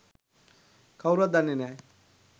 කවුරුවත් දන්නේ නෑ